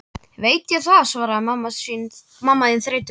Veit ég það, svaraði mamma þín þreytulega.